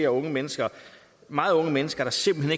unge mennesker meget unge mennesker der simpelt